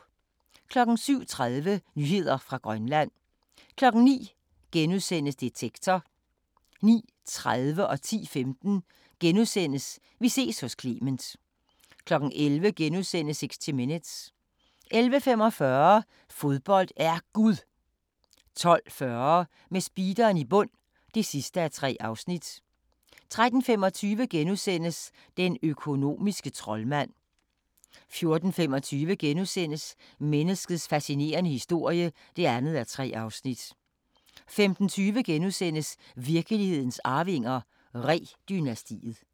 07:30: Nyheder fra Grønland 09:00: Detektor * 09:30: Vi ses hos Clement * 10:15: Vi ses hos Clement * 11:00: 60 Minutes * 11:45: Fodbold er Gud 12:40: Med speederen i bund (3:3) 13:25: Den økonomiske troldmand * 14:25: Menneskets fascinerende historie (2:3)* 15:20: Virkelighedens Arvinger: Ree-dynastiet *